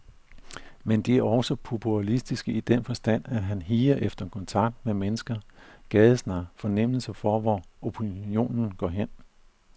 Men de er også populistiske i den forstand, at han higer efter kontakt med mennesker, gadesnak, fornemmelse for hvor opinionen går hen.